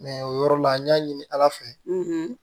o yɔrɔ la n y'a ɲini ala fɛ